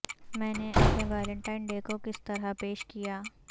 میں نے اپنے ویلنٹائن ڈے کو کس طرح پیش کیا